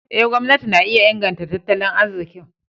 Eh, gwamnati na iya inganta tattali arzikin.